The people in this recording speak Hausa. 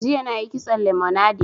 Jiya na yi kitson lemonade